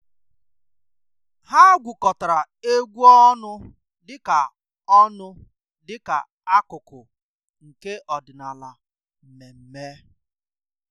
Há gwúkọtara égwu ọnụ dịka ọnụ dịka ákụ́kụ́ nke ọ́dị́nála mmemme.